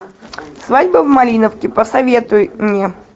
свадьба в малиновке посоветуй мне